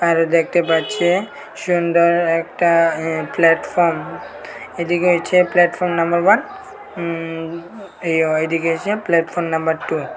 আর দেখতে পাচ্ছে সুন্দর একটা উঁ প্ল্যাটফর্ম এদিকে হচ্ছে প্ল্যাটফর্ম নাম্বার ওয়ান উম ওইদিকে হচ্ছে প্ল্যাটফর্ম নাম্বার টু ।